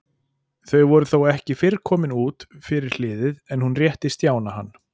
Þau voru þó ekki fyrr komin út fyrir hliðið en hún rétti Stjána hann.